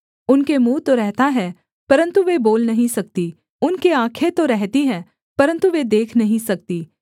उनके मुँह तो रहता है परन्तु वे बोल नहीं सकती उनके आँखें तो रहती हैं परन्तु वे देख नहीं सकती